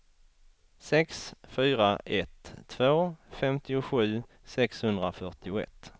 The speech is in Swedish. sex fyra ett två femtiosju sexhundrafyrtioett